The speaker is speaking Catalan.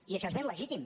i això és ben legítim